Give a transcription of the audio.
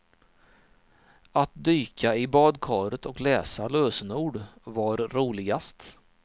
Att dyka i badkaret och läsa lösenord var roligast.